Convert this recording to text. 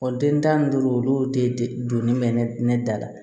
den tan ni duuru olu de donnen bɛ ne da la